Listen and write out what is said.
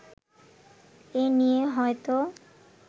এ নিয়ে হয়ত